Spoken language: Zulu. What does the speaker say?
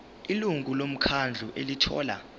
ilungu lomkhandlu elithola